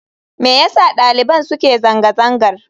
Me yasa daliban suke zanga-zangar?